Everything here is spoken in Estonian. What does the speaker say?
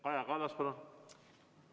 Kaja Kallas, palun!